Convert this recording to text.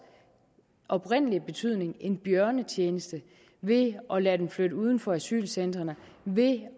oprindelige betydning bjørnetjeneste ved at lade dem flytte uden for asylcentrene ved